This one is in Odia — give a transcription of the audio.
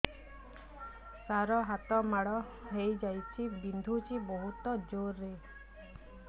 ସାର ହାତ ମାଡ଼ ହେଇଯାଇଛି ବିନ୍ଧୁଛି ବହୁତ ଜୋରରେ